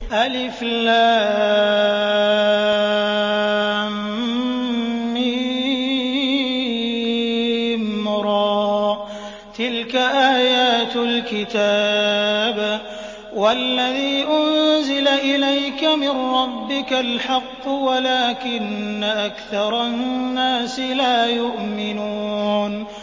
المر ۚ تِلْكَ آيَاتُ الْكِتَابِ ۗ وَالَّذِي أُنزِلَ إِلَيْكَ مِن رَّبِّكَ الْحَقُّ وَلَٰكِنَّ أَكْثَرَ النَّاسِ لَا يُؤْمِنُونَ